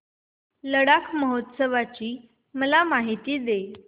लडाख महोत्सवाची मला माहिती दे